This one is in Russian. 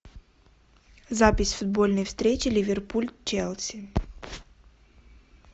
запись футбольной встречи ливерпуль челси